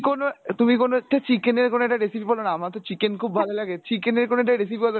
কোনো তুমি কোনো একটা chicken এর কোনো একটা recipe বলোনা আমার তো chicken খুব ভালো লাগে chicken এর কোনো একটা recipe বলো।